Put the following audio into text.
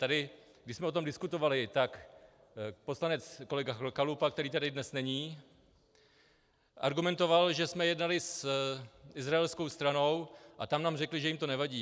Tady, když jsme o tom diskutovali, tak poslanec kolega Chalupa, který tady dnes není, argumentoval, že jsme jednali s izraelskou stranou a tam nám řekli, že jim to nevadí.